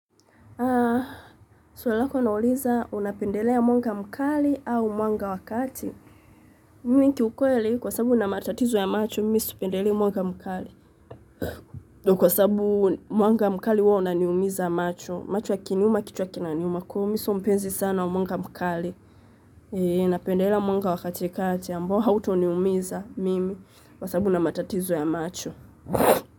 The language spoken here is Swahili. Haa, swali lako lauliza unapendelea mwanga mkali au mwanga wa kati. Mimi kiukweli kwasabu nina matatizo ya macho, mimi sipendelea mwanga mkali. Ndo kwasabu mwanga mkali huwa unaniumiza macho. Macho yakiniuma kichwa kinaniuma kwa hio, mi sio mpenzi sana wa mwanga mkali. Ee, napendelea mwanga wa katikati, ambao hauto niumiza mimi kwasabu nina matatizo ya macho.